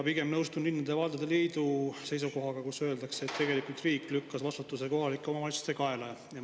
Pigem nõustun linnade ja valdade liidu seisukohaga, kus öeldakse, et tegelikult riik lükkas vastutuse kohalike omavalitsuste kaela.